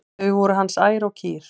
Þau eru hans ær og kýr.